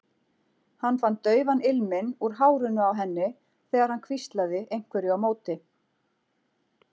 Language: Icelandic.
Hann fann daufan ilminn úr hárinu á henni þegar hann hvíslaði einhverju á móti.